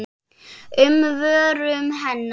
um vörum hennar.